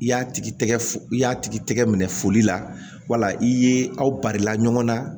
I y'a tigi i y'a tigi tɛgɛ minɛ foli la wala i ye aw barila ɲɔgɔn na